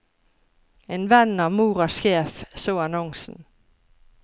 En venn av moras sjef så annonsen.